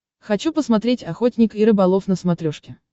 хочу посмотреть охотник и рыболов на смотрешке